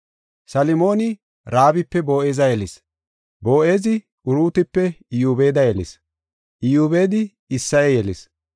Salmoona Raabipe Boo7eza yelis; Boo7ezi Uruutipe Iyobeeda yelis; Iyobeedi Isseye yelis;